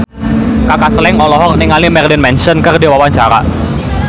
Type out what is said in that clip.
Kaka Slank olohok ningali Marilyn Manson keur diwawancara